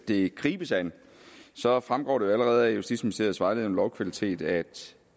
det gribes an så fremgår det jo allerede af justitsministeriets vejledning om lovkvalitet at